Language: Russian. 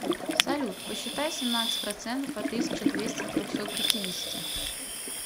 салют посчитай семнадцать процентов от тысяча двести трехсот пятидесяти